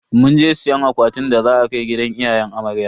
Munje siyan akwatin da za a kai gidan iyayen amarya.